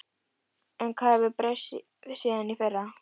En hvað hefur breyst síðan í fyrra?